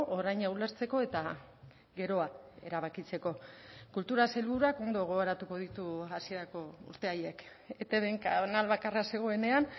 oraina ulertzeko eta geroa erabakitzeko kultura sailburuak ondo gogoratuko ditu hasierako urte haiek etbn kanal bakarra zegoenean